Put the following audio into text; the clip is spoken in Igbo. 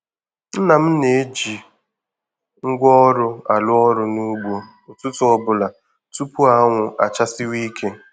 Nna m na-eji ngwaọrụ arụ ọrụ n'ugbo ụtụtụ ọbụla tupu anwụ achasiwe ike.